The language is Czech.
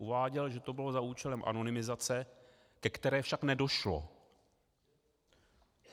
Uváděl, že to bylo za účelem anonymizace, ke které však nedošlo.